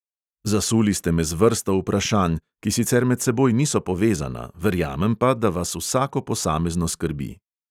Zasuli ste me z vrsto vprašanj, ki sicer med seboj niso povezana, verjamem pa, da vas vsako posamezno skrbi.